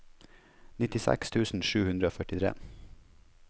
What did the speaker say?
nittiseks tusen sju hundre og førtitre